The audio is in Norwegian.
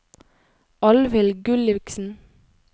Alvhild Gulliksen